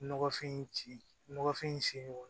Nɔgɔfin in ci nɔgɔfin in sen